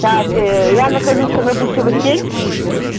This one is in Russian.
так я нахожусь на гусева семь